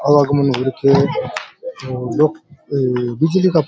अलग बिजली का --